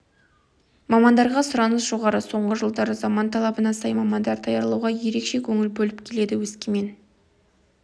мамандарға сұраныс жоғары соңғы жылдары заман талабына сай мамандар даярлауға ерекше көңіл бөліп келеді өскемен